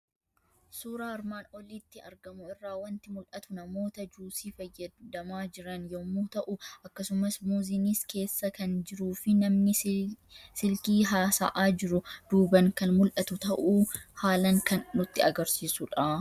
Suuraa armaan olitti argamu irraa waanti mul'atu; namoota juusii fayyadamaa jiran yommuu ta'u, akkasumas muuzinis keessa kan jiruufi namni silkii haasa'a jiru duuban kan mul'atu ta'uu haalan kan nutti agarsiisudha.